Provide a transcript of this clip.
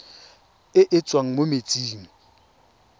e e tswang mo metsing